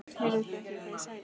Heyrðu þið ekki hvað ég sagði?